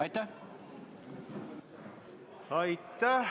Aitäh!